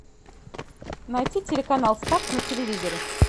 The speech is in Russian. найти телеканал старт на телевизоре